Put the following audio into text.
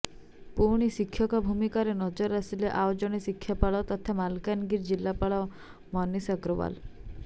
ପୁଣି ଶିକ୍ଷକ ଭୂମିକାରେ ନଜର ଆସିଲେ ଆଉ ଜଣେ ଜିଲ୍ଲାପାଳ ତଥା ମାଲକାନଗିରି ଜିଲ୍ଲାପାଳ ମନୀଷ ଅଗ୍ରୱାଲ